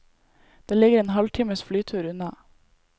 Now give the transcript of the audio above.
Det ligger en halvtimes flytur unna.